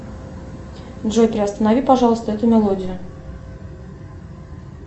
джой приостанови пожалуйста эту мелодию